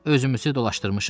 Özümüzü dolaşdırmışıq.